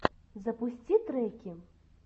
запусти треки